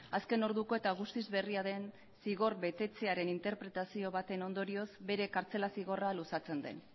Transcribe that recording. azken orduko eta guztiz berria den zigor betetzearen interpretazio baten ondorioz bere kartzela zigorra luzatzen den